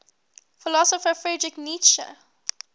philosopher friedrich nietzsche